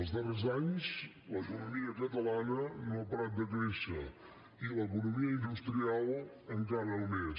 els darrers anys l’economia catalana no ha parat de créixer i l’economia industrial encara més